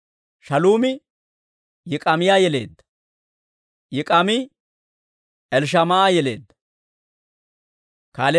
Shaaluumi Yik'aamiyaa yeleedda; Yik'aame Elishamaa'a yeleedda.